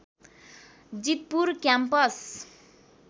Jeetpur campus